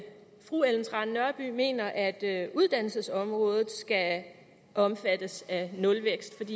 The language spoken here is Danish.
fru ellen trane nørby mener at at uddannelsesområdet skal omfattes af nulvækst